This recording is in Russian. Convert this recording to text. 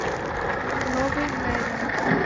новый мерин